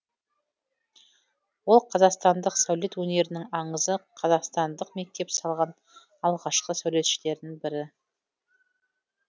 ол қазақстандық сәулет өнерінің аңызы қазақстандық мектеп салған алғашқы сәулетшілердің бірі